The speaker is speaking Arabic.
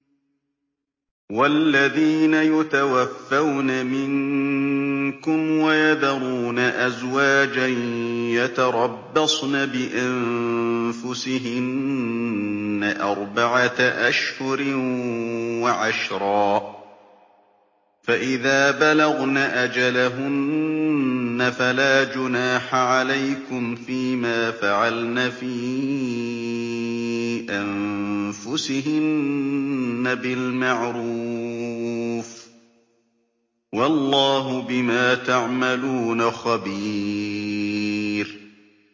وَالَّذِينَ يُتَوَفَّوْنَ مِنكُمْ وَيَذَرُونَ أَزْوَاجًا يَتَرَبَّصْنَ بِأَنفُسِهِنَّ أَرْبَعَةَ أَشْهُرٍ وَعَشْرًا ۖ فَإِذَا بَلَغْنَ أَجَلَهُنَّ فَلَا جُنَاحَ عَلَيْكُمْ فِيمَا فَعَلْنَ فِي أَنفُسِهِنَّ بِالْمَعْرُوفِ ۗ وَاللَّهُ بِمَا تَعْمَلُونَ خَبِيرٌ